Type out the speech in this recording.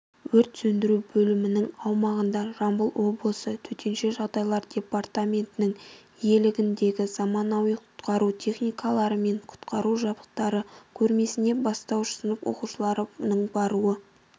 өрт сөндіру бөлімінің аумағында жамбыл облысы төтенше жағдайлар департаментінің иелігіндегі заманауи құтқару техникалары мен құтқару жабдықтары көрмесіне бастауыш сынып оқушыларының баруы